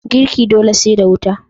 Girki dole sai da wuta.